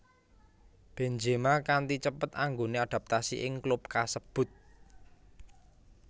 Benzema kanti cepet anggone adaptasi ing klub kasebut